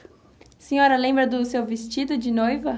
A senhora lembra do seu vestido de noiva?